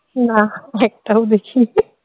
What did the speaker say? না একটাও দেখিনি